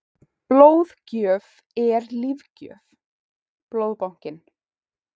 Blóðgjöf er lífgjöf- Blóðbankinn.